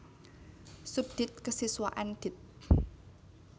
Subdit Kesiswaan Dit